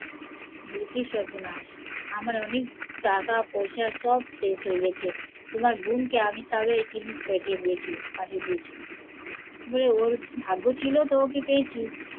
বলে কি সর্বনাশ আমার অনেক টাকা পয়সা সব শেষ হয়ে গেছে, তোমার বোনকে আমি সারা জিনিস পাঠিয়ে দিয়েছি, বলে ওর ভাগ্য ছিল ওকে পেয়েছি